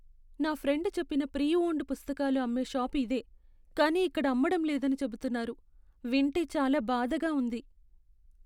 నా ఫ్రెండ్ చెప్పిన pre owned పుస్తకాలు అమ్మే షాప్ ఇదే, కానీ ఇక్కడ అమ్మడం లేదని చెబుతున్నారు. వింటే చాలా బాధగా ఉంది.